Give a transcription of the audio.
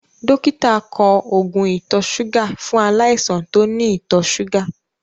Dọ́kítà kọ oògùn ìtọ̀-súgà fún aláìsàn tó ní ìtọ̀-súgà.